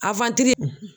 A